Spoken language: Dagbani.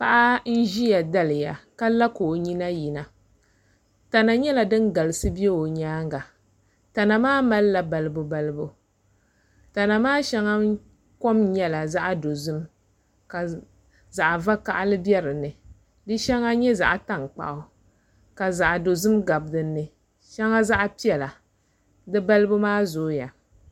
Paɣa n ʒiya daliya ka la ka o nyina yina tana nyɛla din galisi bɛ o nyaanga tana maa malila balibu balibu tana maa shɛŋa kom nyɛla zaɣ dozim ka zaɣ vakaɣali bɛ dinni di shɛŋa nyɛ zaɣ tankpaɣu ka zaɣ dozim gabi dinni di balibu maa zooya